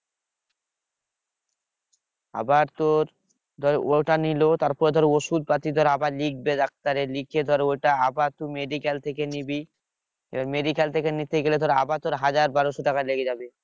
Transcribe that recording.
আবার তোর ধর ওটা নিল তারপর ধর ওষুধ পাতি ধর আবার লিখবে doctor এ লিখে ধর ওটা আবার তুই medical থেকে নিবি এবার medical থেকে নিতে গেলে তোর আবার তোর হাজার বারোশো টাকা লেগে যাবে